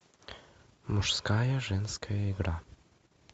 мужская женская игра